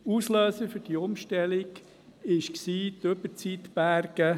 Auslöser für die Umstellung waren die Überzeitberge.